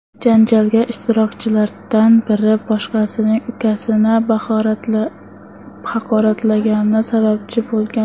Janjalga ishtirokchilardan biri boshqasining ukasini haqoratlagani sababchi bo‘lgan.